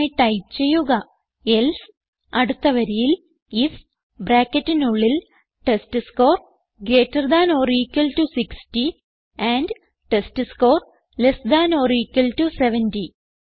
അതിനായി ടൈപ്പ് ചെയ്യുക എൽസെ അടുത്ത വരിയിൽ ഐഎഫ് ബ്രാക്കറ്റിനുള്ളിൽ test score greater than or equal to 60 and test score less than or equal to 70